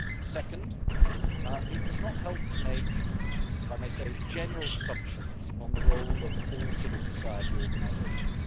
Second, it does not help to make, if I may say so, general assumptions on the role of all civil society organisations.